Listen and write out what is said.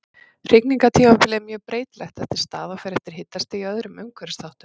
Hrygningartímabilið er mjög breytilegt eftir stað og fer eftir hitastigi og öðrum umhverfisþáttum.